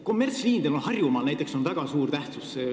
Kommertsliinidel on näiteks Harjumaal väga suur tähtsus.